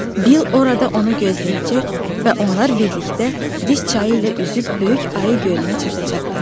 Bil orada onu gözləyəcək və onlar birlikdə Dis çayı ilə üzüb Böyük Ayı gölünə çatacaqlar.